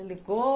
ligou?